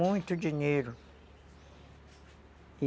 Muito dinheiro.